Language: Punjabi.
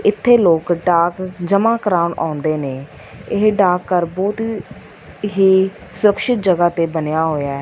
ਇਥੇ ਲੋਕ ਡਾਕ ਜਮਾ ਕਰਾਂਨ ਆਉਂਦੇ ਨੇ ਇਹ ਡਾਕ ਘਰ ਬੋਹਤ ਹੀ ਸੁਰਕਸ਼ਿਤ ਜਗਹ ਤੇ ਬਨਯਾ ਹੋਯਾ ਹੈ।